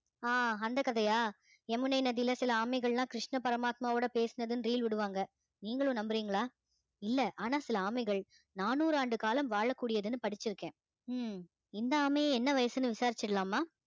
ஆஹ் அந்த கதையா யமுனை நதியில சில ஆமைகள் எல்லாம் கிருஷ்ண பரமாத்மாவோட பேசினதுன்னு reel விடுவாங்க நீங்களும் நம்புறீங்களா இல்ல ஆனா சில ஆமைகள் நானூறு ஆண்டு காலம் வாழக்கூடியதுன்னு படிச்சிருக்கேன் உம் இந்த ஆமையை என்ன வயசுன்னு விசாரிச்சிடலாமா